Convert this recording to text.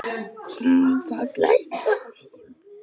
Það geislar af honum.